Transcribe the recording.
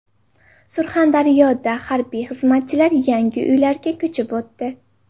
Surxondaryoda harbiy xizmatchilar yangi uylarga ko‘chib o‘tdi.